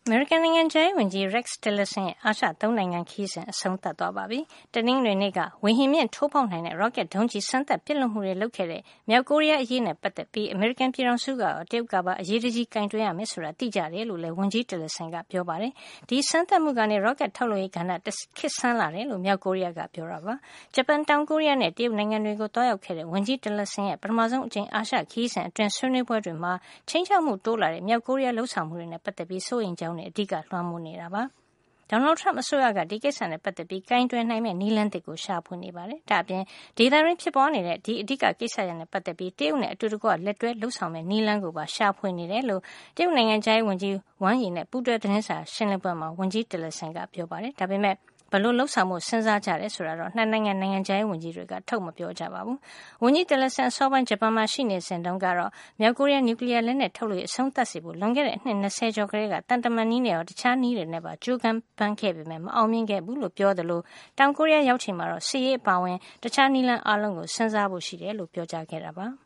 မေရိကန်နိုင်ငံခြားရေးဝန်ကြီး Rex Tillerson ရဲ့ အာရှ သုံးနိုင်ငံ ခရီးစဉ် အဆုံးသတ်သွားပါပြီ။ တနင်္ဂနွေနေ့က ဝေဟင်မြင့်ထိုးဖေါက်နိုင်တဲ့ ရော့ကက်ဒုံးကျည်စမ်းသပ် ပစ်လွှတ်မှုတွေ လုပ်ခဲ့တဲ့ မြောက်ကိုရီးယားအရေးနဲ့ ပတ်သက်ပြီး အမေရိကန် ပြည်ထောင်စုကရော တရုတ်ကပါ အရေးတကြီး ကိုင်တွယ်ရမယ်ဆိုတာ သိကြတယ်လို့လည်း ဝန်ကြီး Tillerson ကပြောပါတယ်။ ဒီစမ်းသပ်မှုကနေ ဒုံးကျည်ထုတ်လုပ်ရေးကဏ္ဍ တခေတ်ဆန်းလာတယ်လို့ မြောက်ကိုရီးယားက ပြောကြားခဲ့တာ ဖြစ်ပါတယ်။ ဂျပန်၊ တောင်ကိုရီးယားနဲ့ တရုတ်နိုင်ငံတွေကို သွားရောက်ခဲ့တဲ့ ဝန်ကြီး Tillerson ရဲ့ ပထမဆုံး အကြိမ် အာရှခရီးစဉ်အတွင်း ဆွေးနွေးပွဲ တွေမှာ ခြိမ်းခြောက်မှု တိုးလာတဲ့ မြောက်ကိုရီးယားရဲ့ လုပ်ဆောင်မှုတွေနဲ့ ပတ်သက်ပြီး စိုးရိမ်တဲ့ အကြောင်းတွေသာ အဓိလွှမ်းမိုးနေတာပါ။ Donald Trump အစိုးရက ဒီကိစ္စနဲ့ ပတ်သက်ပြီး ကိုင်တွယ်နိုင်မယ့် နည်းလမ်းသစ်ကို ရှာဖွေနေပါတယ်။ ဒါ့အပြင် ဒေသတွင်းဖြစ်ပွါးနေတဲ့ ဒီအဓိက ကိစ္စရပ်နဲ့ ပတ်သက်ပြီး တရုတ်နဲ့ အတူတကွ လက်တွဲလုပ်ဆောင်မယ့် နည်းလမ်းကိုပါ ရှာဖွေနေတယ်လို့ တရုတ်နိုင်ငံခြားရေး ဝန်ကြီး Wang Yi နဲ့ ပူးတွဲ သတင်းစာရှင်းလင်းပွဲမှာ ဝန်ကြီး Tillerson ကပြောပါတယ်။ ဒါပေမယ့် ဘယ်လို လုပ်ဆောင်ဖို့ စဉ်းစားကြတယ် ဆိုတာကိုတော့ ၂ နိုင်ငံ နိုင်ငံခြားရေး ဝန်ကြီးတွေက ထုတ်မပြောကြပါဘူး။ ဝန်ကြီး Tillerson အစောပိုင်း ဂျပန်နိုင်ငံမှာ ရှိနေစဉ် တုန်းကတော့ မြောက်ကိုရီးယား နျူကလီယား လက်နက်ထုတ်ရေး အဆုံးသတ်စေဖို့ လွန်ခဲ့တဲ့ အနှစ် ၂၀ ကျော်ကတည်းက သံတမန်နည်းနဲ့ရော တခြားနည်းတွေနဲ့ပါ ကြိုးပမ်းခဲ့ပေမယ့် မအောင်မြင်ခဲ့ဘူးလို့ ပြောကြားခဲ့သလို တောင်ကိုရီးယား ကို ရောက်ချိန်မှာတော့ စစ်ရေးအပါအဝင် တခြား နည်းလမ်းအားလုံးကို စဉ်းစားဖို့ ရှိတယ်လို့ ပြောခဲ့တာပါ။